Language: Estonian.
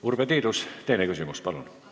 Urve Tiidus, teine küsimus, palun!